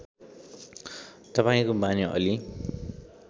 तपाईँको बानी अलि